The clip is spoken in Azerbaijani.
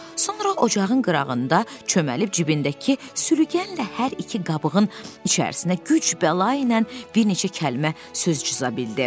Sonra ocağın qırağında çöməlib cibindəki sürükənlə hər iki qabığın içərisinə güc-bəla ilə bir neçə kəlmə söz cıza bildi.